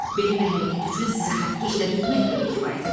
Belə bir hərəkət üçün sizi xəttkeşlə döymək belə kifayət etməz.